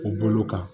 O bolo kan